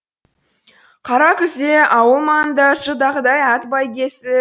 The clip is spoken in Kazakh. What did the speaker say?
қара күзде ауыл маңында жылдағыдай ат бәйгесі